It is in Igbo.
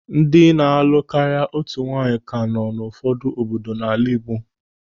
Ndị na-alụ karịa otu nwaanyị ka nọ n'ụfọdụ obodo n'ala Igbo.